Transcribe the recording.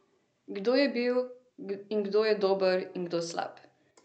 Kdo je bil in kdo je dober in kdo slab?